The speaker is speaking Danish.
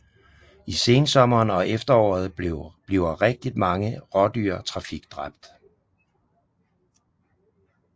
I sensommeren og efteråret bliver rigtigt mange rådyr trafikdræbt